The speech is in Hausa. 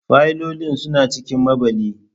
Fayilolin suna cikin maɓalli.